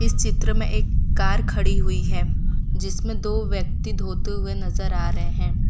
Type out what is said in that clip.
इस चित्र में एक कार खड़ी हुई है जिसमें दो व्यक्ति धोते हुए नजर आ रहें हैं।